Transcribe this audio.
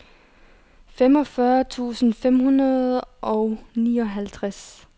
femogfyrre tusind fem hundrede og nioghalvtreds